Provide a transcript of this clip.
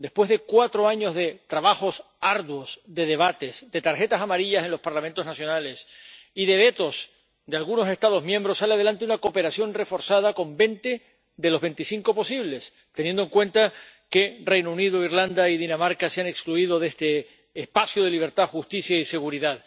Después de cuatro años de trabajos arduos, de debates, de tarjetas amarillas en los Parlamentos nacionales y de vetos de algunos Estados miembros, sale adelante una cooperación reforzada con veinte de los veinticinco posibles Estados miembros participantes, teniendo en cuenta que el Reino Unido, Irlanda y Dinamarca se han excluido de este espacio de libertad, justicia y seguridad.